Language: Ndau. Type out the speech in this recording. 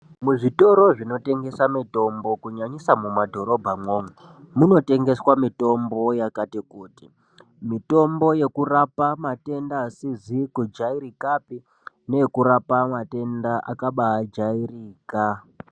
Muzvitoro zvinotengesa mitombo kunyanyisa mumadhorobha umwomwo munotengeswa mitombo yakati kuti mitombo yokuraoa matenda asizi kujairikapi neekurapa mwatenda akabajairika.